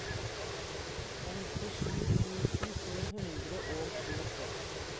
femtisju tusen to hundre og tjueseks